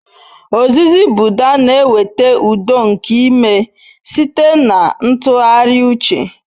Ozizi Buda na-eweta udo nke ime site na ntụgharị uche.